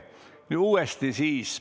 Nii, uuesti siis.